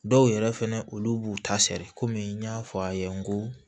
Dɔw yɛrɛ fɛnɛ olu b'u ta sɛɛrɛ kɔmi n y'a fɔ a ye n ko